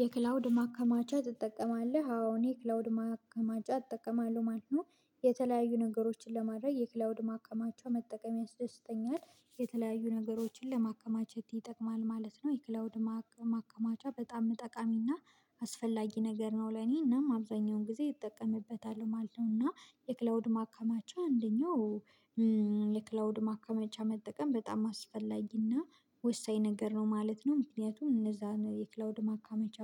የክላውድ ማከማቻ ትጠቀማለህ? አዎ፣ እኔ የክላውድ ማከማቻ እጠቀማለሁ ማለት ነው። የተለያዩ ነገሮችን ለማድረግ የክላውድ ማከማቻ መጠቀም ያስደስተኛል። የተለያዩ ነገሮችን ለማከማቸት ይጠቅማል ማለት ነው። የክላውድ ማከማቻ በጣም ጠቃሚና አስፈላጊ ነገር ነው ለኔ እናም አብዛኛውን ጊዜ ይጠቀምበታል ማለት ነው እና የክላውድ ማከማቻ አንደኛው የክላውድ ማከማቻ መጠቀም በጣም አስፈላጊና ወሳኝ ነገር ነው ማለት ነው። ምክንያቱም እነዛን የክላውድ ማካመቻ